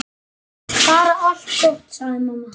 Bara allt gott, sagði mamma.